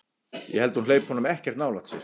Ég held að hún hleypi honum ekkert nálægt sér.